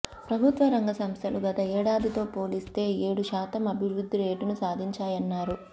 ప్రభుత్వరంగ సంస్థలు గత ఏడాదితో పోలిస్తే ఏడు శాతం అభివృద్ధి రేటును సాధించాయన్నారు